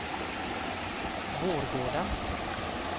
Vårgårda